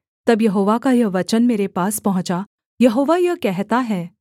तब यहोवा का यह वचन मेरे पास पहुँचा यहोवा यह कहता है